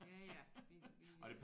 Ja ja det det